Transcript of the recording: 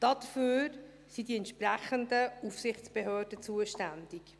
Dafür sind die entsprechenden Aufsichtsbehörden zuständig.